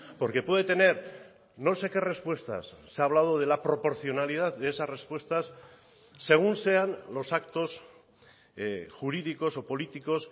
porque puede tener no sé qué respuestas se ha hablado de la proporcionalidad de esas respuestas según sean los actos jurídicos o políticos